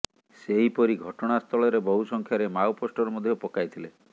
ସେହିପରି ଘଟଣାସ୍ଥଳରେ ବହୁ ସଂଖ୍ୟରେ ମାଓ ପୋଷ୍ଟର ମଧ୍ୟ ପକାଇଥିଲେ